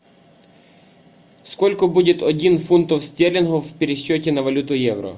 сколько будет один фунтов стерлингов в пересчете на валюту евро